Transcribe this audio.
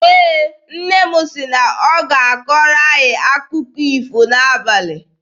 Ee, nne m sị na ọ ga-akọrọ anyị akụkọ ifo n'abalị.